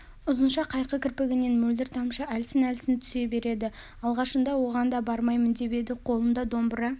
ұзынша қайқы кірпігінен мөлдір тамшы әлсін-әлсін түсе береді алғашында оған да бармаймын деп еді қолында домбыра